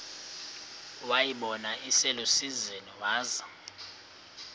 wayibona iselusizini waza